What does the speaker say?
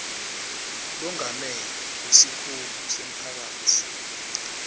longamele wesikhungo semphakatsi